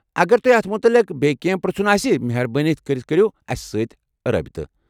اگر تۄہہِ اتھ متعلق بیٚیہِ کٮ۪نٛہہ پرٛژھُن آسہِ، مہربٲنی كرِتھ کٔرِو اسہِ سۭتۍ رٲبطہٕ ۔